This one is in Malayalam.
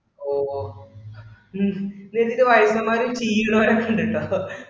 ഓഹ് ഉം ഇതെന്നിട്ടു വയസ്സന്മാർക്ക്‌ ശീലം ആയിട്ടുണ്ട് കേട്ടോ